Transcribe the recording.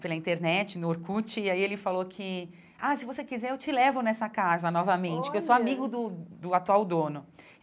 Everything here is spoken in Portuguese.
pela internet, no Orkut, e aí ele falou que, ah, se você quiser, eu te levo nessa casa novamente, olha porque eu sou amigo do do atual dono.